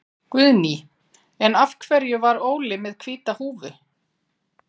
Guðný: En af hverju var Óli með hvíta húfu?